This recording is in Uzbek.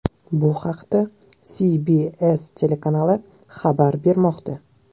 Bu haqda CBS telekanali xabar bermoqda .